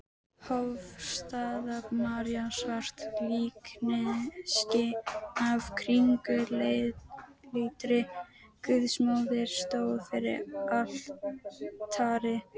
Hofsstaða-María, svart líkneski af kringluleitri Guðsmóður, stóð fyrir altari.